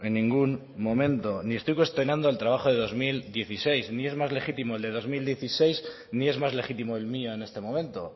ningún momento ni estoy cuestionando el trabajo de dos mil dieciséis ni es más legítimo el del dos mil dieciséis ni es más legítimo el mío en este momento